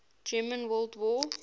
german world war